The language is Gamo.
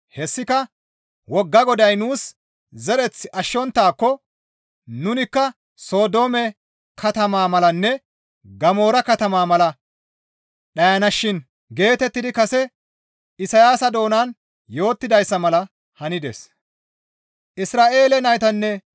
Hessika, «Wogga Goday nuus zereth ashshonttaakko nunikka Sodoome katamaa malanne Gamoora katama mala dhayanashin» geetettidi kase Isayaasa doonan yootidayssa mala hanides.